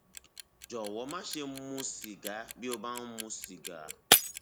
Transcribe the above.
jọwọ máṣe mu sìgá bí o bá ń mu sìgá